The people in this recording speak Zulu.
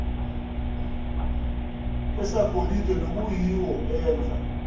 osagolide nokuyiwo enza